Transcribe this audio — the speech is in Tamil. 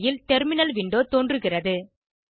திரையில் டெர்மினல் விண்டோ தோன்றுகிறது